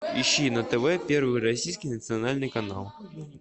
ищи на тв первый российский национальный канал